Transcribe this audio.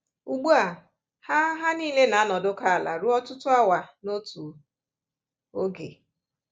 Ugbu a, ha ha niile na-anọdụkọ ala ruo ọtụtụ awa n’otu oge